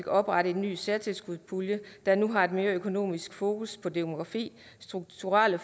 oprettet en ny særtilskudspulje der nu har et mere økonomisk fokus på demografi strukturelle